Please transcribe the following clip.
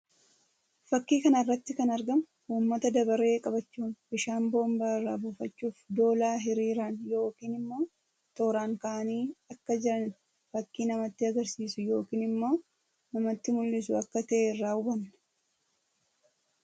Fakkii kana irratti kan argamu uummata dabaree qabachuun bishaan boombaa irraa buufachuuf doolaa hiriiraan yookiin immoo tooraan ka'anii akka jiran fakkii namatti agarsiisu yookiin immoo namatti mullisu akka tahe irraa hubanna.